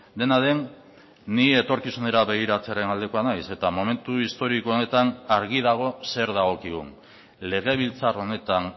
dena den ni etorkizunera begiratzearen aldekoa naiz eta momentu historiko honetan argi dago zer dagokigun legebiltzar honetan